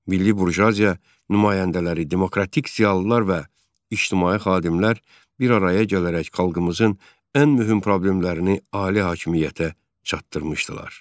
Milli burjuaziya nümayəndələri, demokratik ziyalılar və ictimai xadimlər bir araya gələrək xalqımızın ən mühüm problemlərini ali hakimiyyətə çatdırmışdılar.